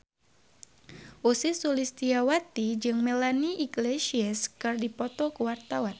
Ussy Sulistyawati jeung Melanie Iglesias keur dipoto ku wartawan